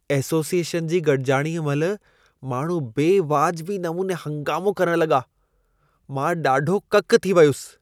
Association जी गॾिजाणीअ महिल माण्हू बेवाजिबी नमूने हंगामो करण लॻा, मां ॾाढो ककि थी वियुसि।